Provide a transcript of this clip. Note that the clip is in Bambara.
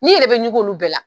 N 'i yɛrɛ bɛ ɲugu olu bɛɛ la